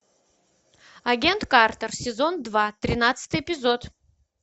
агент картер сезон два тринадцатый эпизод